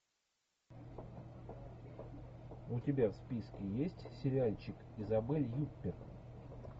у тебя в списке есть сериальчик изабель юппер